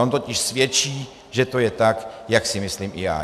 On totiž svědčí, že to je tak, jak si myslím i já.